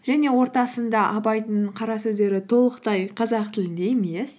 және ортасында абайдың қара сөздері толықтай қазақ тілінде емес